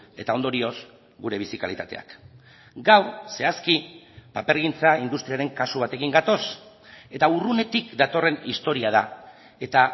eta ondorioz gure bizi kalitateak gaur zehazki papergintza industriaren kasu batekin gatoz eta urrunetik datorren historia da eta